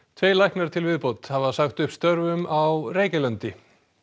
tveir læknar til viðbótar hafa sagt upp störfum á Reykjalundi